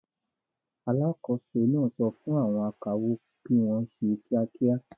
Alákòóso náà sọ fún àwọn akawó kí wọ́n ṣe kíákíá.